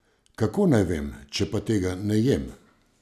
Kako naj vem, če pa tega ne jem?